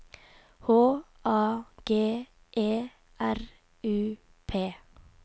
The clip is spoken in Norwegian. H A G E R U P